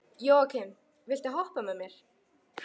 Jóakim, viltu hoppa með mér?